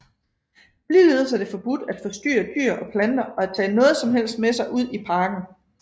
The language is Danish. Ligeledes er det forbudt at forstyrre dyr og planter og at tage noget som helst med sig ud af parken